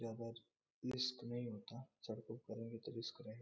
यहां पर रिस्क नहीं होता सड़को पर रहेंगे तो रिस्क रहे --